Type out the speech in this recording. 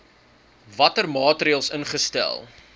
watter maatreëls ingestel